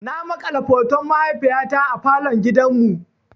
Na makala hoton mahaifiyata a falon gidan mu.